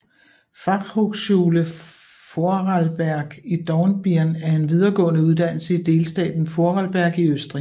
Fachhochschule Vorarlberg i Dornbirn er en videregående uddannelse i delstaten Vorarlberg i Østrig